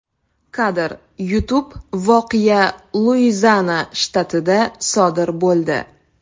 Kadr: YouTube Voqea Luiziana shtatida sodir bo‘ldi.